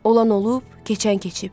Olan olub, keçən keçib.